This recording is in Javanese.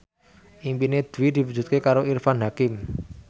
impine Dwi diwujudke karo Irfan Hakim